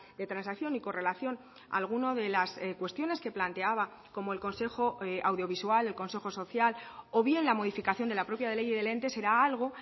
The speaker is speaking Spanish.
de transacción y correlación alguna de las cuestiones que planteaba como el consejo audiovisual el consejo social o bien la modificación de la propia ley del ente será algo